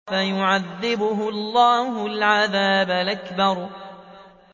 فَيُعَذِّبُهُ اللَّهُ الْعَذَابَ الْأَكْبَرَ